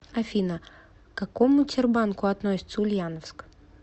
афина к какому тербанку относится ульяновск